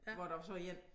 Hvor der var så en